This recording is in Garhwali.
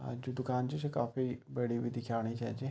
अ जु दुकान च जु काफी बड़ी बि दिखेणी छे छ ।